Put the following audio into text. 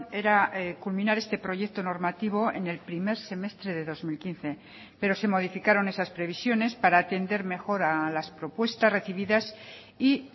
era culminar este proyecto normativo en el primer semestre de dos mil quince pero se modificaron esas previsiones para atender mejor a las propuestas recibidas y